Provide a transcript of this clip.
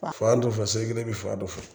Fan dɔ fɛ seli kelen bɛ fan dɔ fɛ